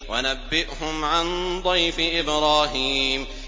وَنَبِّئْهُمْ عَن ضَيْفِ إِبْرَاهِيمَ